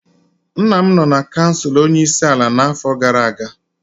Nna m nọ na kansụl onye isi ala n'afọ gara aga.